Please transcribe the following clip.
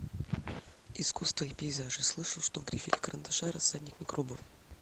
искусство и пейзажи слышал что в грифеле карандаша рассадник микробов